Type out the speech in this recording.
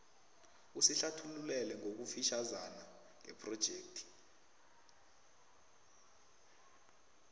usihlathululele ngokufitjhazana ngephrojekhthi